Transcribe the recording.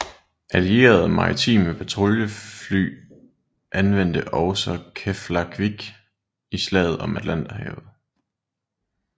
Allierede maritime patruljefly anvendte også Keflavik i Slaget om Atlanterhavet